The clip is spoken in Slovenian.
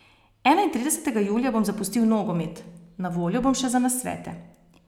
Enaintridesetega julija bom zapustil nogomet, na voljo bom še za nasvete.